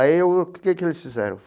Aí o que que eles fizeram?